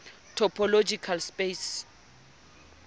topological space